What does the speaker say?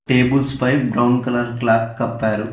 Tables పై brown colour cloth కప్పారు.